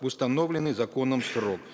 в установленный законом срок